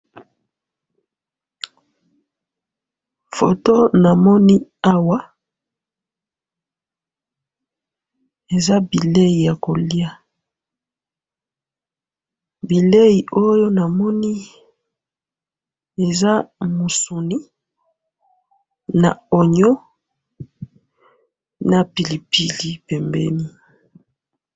Foto namoni awa eza bileyi ya koliya bileyi oyo namoni eza musuni na oignon na pilipili pembeni.